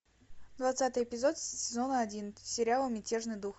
двадцатый эпизод сезона один сериала мятежный дух